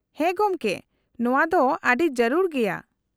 -ᱦᱮᱸ, ᱜᱚᱢᱠᱮ ᱾ ᱱᱚᱶᱟ ᱫᱚ ᱟᱹᱰᱤ ᱡᱟᱹᱨᱩᱲ ᱜᱮᱭᱟ ᱾